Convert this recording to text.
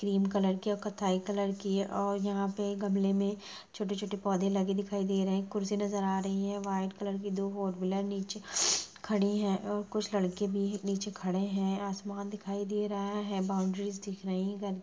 Cream colour की और कथाई कलर की है और यहाँ पे गमले में छोटे-छोटे पौधे लगे दिखाई दे रहे हैं। कुर्सी नज़र आ रही है। व्हाइट कलर की दो फोर व्हीलर नीचे खड़ी हैं और कुछ लड़के भी नीचे खड़े हैं। आसमान दिखाई दे रहा है। बॉउन्ड्रीस दिख रही हैं। --